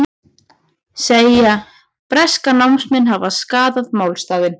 Segja breska námsmenn hafa skaðað málstaðinn